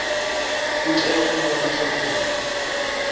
u tea u vhona zwauri